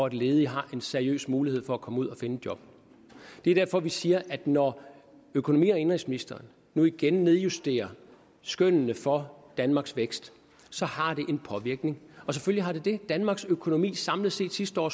at ledige har en seriøs mulighed for komme ud at finde et job det er derfor vi siger at når økonomi og indenrigsministeren nu igen nedjusterer skønnene for danmarks vækst så har det en påvirkning selvfølgelig har det det danmarks økonomi skrumpede samlet set sidste år